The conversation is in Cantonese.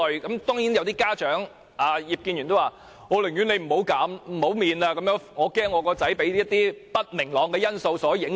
當然有些家長及葉建源議員也說，寧願不減免考試費，因為擔心兒子被不明朗的因素所影響。